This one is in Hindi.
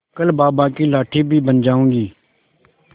कल बाबा की लाठी भी बन जाऊंगी